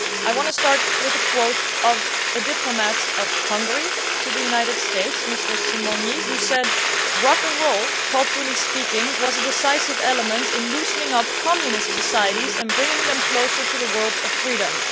I want to start with a quote from a Hungarian diplomat in the United States, Mr Simonyi, who said that rock and roll, culturally speaking, was a decisive element in loosening up communist societies and bringing them closer to the world of freedom'.